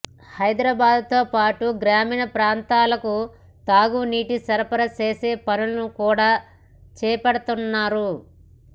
హైదరాబాద్తో పాటు గ్రామీణ ప్రాంతాలకు తాగునీటిని సరఫరా చేసే పనులను కూడా చేపడుతున్నారు